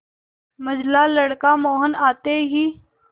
मंझला लड़का मोहन आते ही